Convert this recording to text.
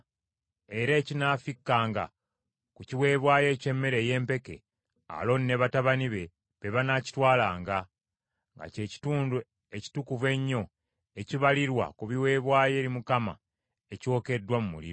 Era ekinaafikkanga ku kiweebwayo eky’emmere ey’empeke, Alooni ne batabani be, be banaakitwalanga; nga kye kitundu ekitukuvu ennyo ekibalirwa ku biweebwayo eri Mukama ekyokeddwa mu muliro.